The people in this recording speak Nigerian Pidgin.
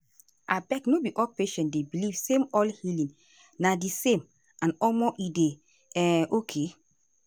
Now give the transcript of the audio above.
abeg no be all patient dey believe same all healing na di same and omo e dey um okay.